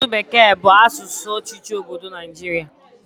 Asụsụ bekee bụ asụsụ ọchịchị obodo Naijiria